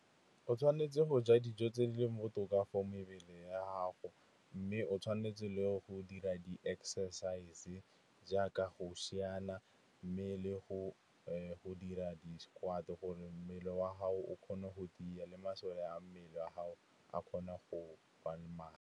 O tshwanetse go ja dijo tse di leng botoka for mebele ya gago. Mme o tshwanetse le go dira di-exercise jaaka go siana, mme le go dira di-squat, gore mmele wa gago o kgone go tiya le masole a mmele wa gago a kgone go ba le matla.